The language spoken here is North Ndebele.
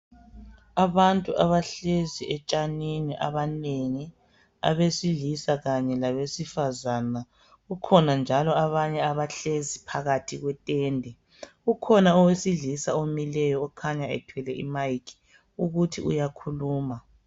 Abantu abahlezi etshanini abanengi abesilisa Kanye labesifazana kukhona njalo abanye abahlezi phakathi kwe Ntende, kukhona owesilisa omileyo okhanya ethwele i mayikhi ukuthi uyakhuluma.